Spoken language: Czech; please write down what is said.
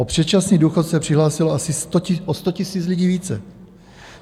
O předčasný důchod se přihlásilo asi o 100 000 lidí více.